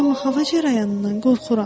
Amma hava cərəyanından qorxuram.